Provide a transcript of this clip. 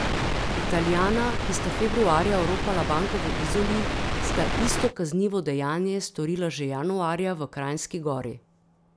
Italijana, ki sta februarja oropala banko v Izoli, sta isto kaznivo dejanje storila že januarja v Kranjski Gori.